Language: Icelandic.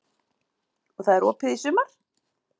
Og það er opið í sumar?